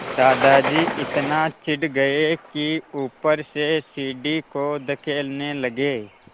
दादाजी इतना चिढ़ गए कि ऊपर से सीढ़ी को धकेलने लगे